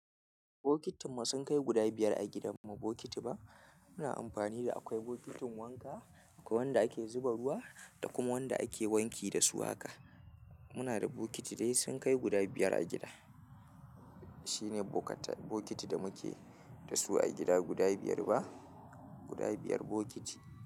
Bokitin ma sunkai guda biyar a gidanmu bokiti ba muna amfani da akwai bokitin wanka akwai wanda ake zuba ruwa da kuma wanda ake wanki da su haka. Muna da bokiti dai sun kai guda biyar a gida. Shine bokata bokiti da muke da su a gida guda biyar ba guda biyar bokiti.